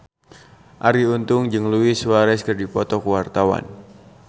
Arie Untung jeung Luis Suarez keur dipoto ku wartawan